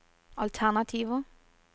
alternativer